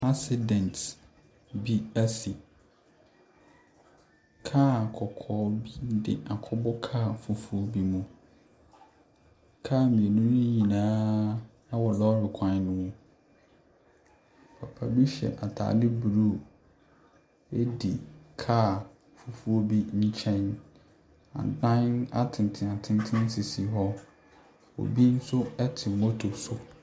Accident bi asi. Car kɔkɔɔ bi de akɔbɔ kaa fufuo bi mu. Car mmienu no nyinaa wɔ lɔre kwan no mu. Papa bi hyɛ atade blue di kaa fufuo bi nkyɛn. Adan atentenatenten sisi hɔ. Obi nso te moto so.